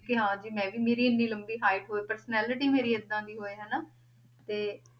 ਕਿ ਹਾਂ ਜੀ ਮੈਂ ਵੀ ਮੇਰੀ ਇੰਨੀ ਲੰਬੀ height ਹੋਵੇ personality ਮੇਰੀ ਏਦਾਂ ਦੀ ਹੋਏ ਹਨਾ, ਤੇ